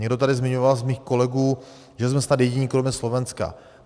Někdo tady zmiňoval z mých kolegů, že jsme snad jediní kromě Slovenska.